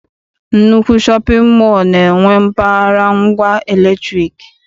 Nnukwu shọpịn mọọ na-enwe mpaghara ngwa latrik.